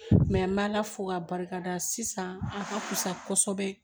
n bɛ ala fo k'a barikada sisan a ka fusa kosɛbɛ